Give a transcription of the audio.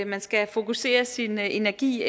man skal fokusere sin energi